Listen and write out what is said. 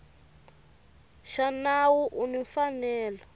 xa nawu u ni mfanelo